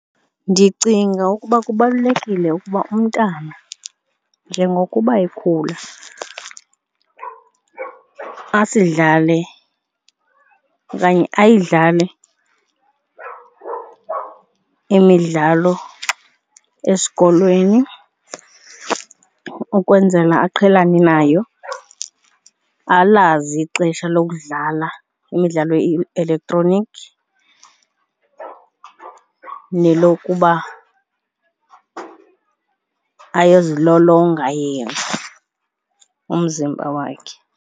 Ndicinga ukuba kubalulekile ukuba umntana njengokuba ekhula asidlale okanye ayidlale imidlalo esikolweni ukwenzela aqhelane nayo, alazi ixesha lokudlala imidlalo ye-elektroniki nelokuba ayozilolonga yena umzimba wakhe.